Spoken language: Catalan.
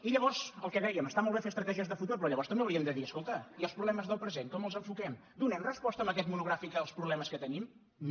i llavors el que dèiem està molt bé fer estratègies de futur però llavors també haurien de dir escolta i els problemes del present com els enfoquem donem resposta amb aquest monogràfic als problemes que te·nim no